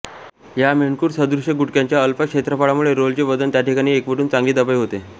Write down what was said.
या मेंढखुर सदृष्य गुटक्यांच्या अल्प क्षेत्रफळामुळे रोलरचे वजन त्याठिकाणी एकवटुन चांगली दबाई होते